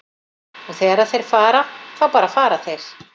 Og þegar þeir fara, þá bara fara þeir.